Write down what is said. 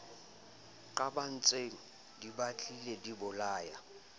qabantseng di batlile di bolayana